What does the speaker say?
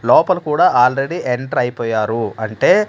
లోపల కూడా already enter అయిపోయారు అంటే.